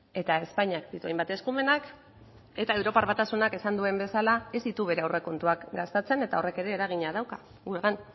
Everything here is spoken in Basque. eta espainiak ditu hainbat eskumenak eta europar batasunak esan duen bezala ez ditu bere aurrekontuak gastatzen eta horrek ere eragina dauka gure gain